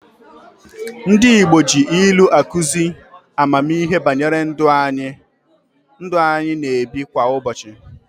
Ndị Igbo ji ilu akụzi ammihe banyere ndụ anyị na-ebi kwa ụbochị.